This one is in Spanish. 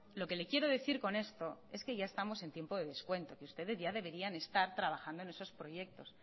lo que le quiero decir con esto es que ya estamos en tiempo de descuento que ustedes ya deberían de estar trabajando en esos proyectos